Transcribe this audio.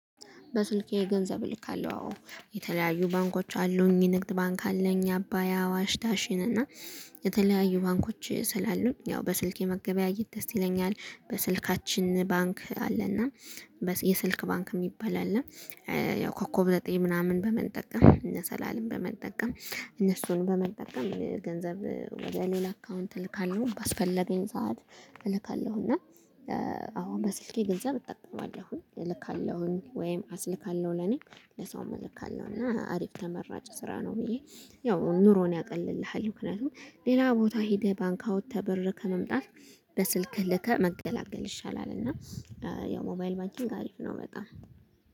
በስልኬ ገንዘብ ልካለሁ አዎ የተለያዩ ባንኮች አሉኝ ንግድ ባንክ አለኝ አባይ አዋሽ ዳሽን እና የተለያዩ ባንኮች ስላሉ ያው በስልክ የመገበያየት ደስ ይለኛል በስልካችን ባንክ አለና የስልክ ባንክ የሚባል አለ። ያው ኮከብ ዘጠኝ ምናምን በመጠቀም መሰላልን በመጠቀም እነሱን በመጠቀም ገንዘብ ወደ ሌላ አካውንት እልካለሁ ባስፈለገኝ ሰዓት እልካለሁ እና አዎ በስልኬ ገንዘብ እጠቀማለሁ እልካለሁኝ ወይም አስልካለሁ ለኔ ለሰውም እልካለሁ እና አሪፍ ተመራጭ ስራ ነው። ብዬ ያው ኑሮን ያቀልልሃል ምክንያቱም ሌላ ቦታ ሄደህ ባንክ አውጥተህ በረህ ከመምጣት በስልክህ ልከህ መገላገል ይሻላል። እና ያው ሞባይል ባንኪንግ አሪፍ ነው በጣም